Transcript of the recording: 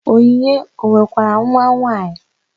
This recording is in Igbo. Onyinye o nwekwara nwanwaanyị?